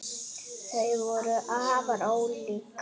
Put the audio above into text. Þau voru afar ólík.